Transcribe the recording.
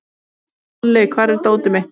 Olli, hvar er dótið mitt?